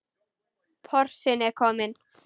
Porsinn er kominn.